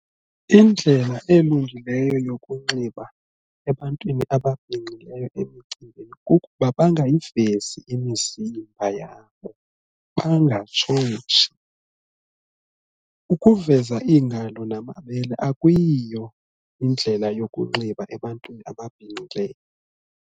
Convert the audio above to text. Indlela elungileyo yokunxiba ebantwini ababhinqileyo emicimbini kukuba bangayivezi imizimba yabo, bangatshotshi. Ukuveza iingalo namabele akuyiyo indlela yokunxiba ebantwini ababhinqileyo.